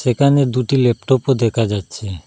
এখানে দুটি ল্যাপটপও দেখা যাচ্ছে।